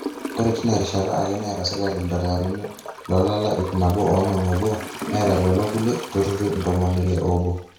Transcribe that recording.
ore teina rishata ake neeta sirkali ildakitarini loolala ip nabo oonom oobo neeta lelo kulie turrurri ntomoni ile oobo